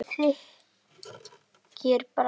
Úr súru þykir bragða best.